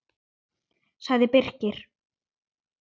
sagði Birkir.